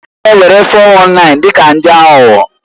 A na-ewere 419 dị ka ndị aghụghọ.